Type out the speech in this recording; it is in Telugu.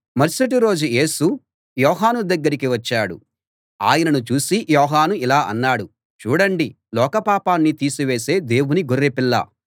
మరుసటిరోజు యేసు యోహాను దగ్గరికి వచ్చాడు ఆయనను చూసి యోహాను ఇలా అన్నాడు చూడండి లోకపాపాన్ని తీసివేసే దేవుని గొర్రెపిల్ల